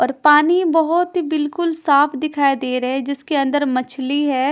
और पानी बहुत बिल्कुल साफ दिखाई दे रहे हैं जिसके अंदर मछली है।